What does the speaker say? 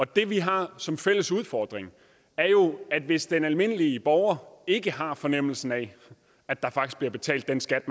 det vi har som fælles udfordring er jo hvis den almindelige borger ikke har fornemmelsen af at der faktisk bliver betalt den skat